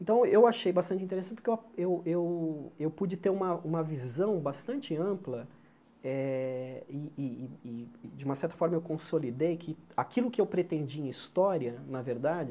Então, eu achei bastante interessante porque eu eu eu pude ter uma uma visão bastante ampla eh e e e, de uma certa forma, eu consolidei que aquilo que eu pretendia em história, na verdade,